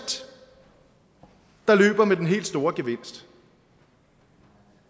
der løber med den helt store gevinst